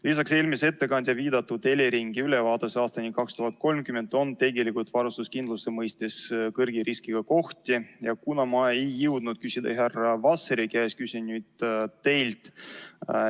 Lisaks on eelmise ettekandja viidatud Eleringi ülevaates aastani 2030 tegelikult varustuskindluse mõistes kõrge riskiga kohti ja kuna ma ei jõudnud küsida härra Vasseri käest, küsin nüüd teilt.